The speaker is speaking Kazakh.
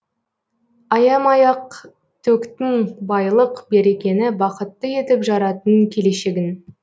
аямай ақ төктің байлық берекені бақытты етіп жараттың келешегін